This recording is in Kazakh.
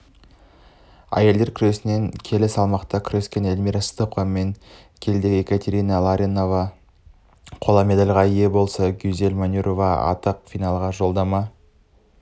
әйелдер күресінен келі салмақта күрескенэльмира сыздықовамен келідегіекатерина ларионовақола медальға ие болса гюзель манюрова ақтық финалға жолдама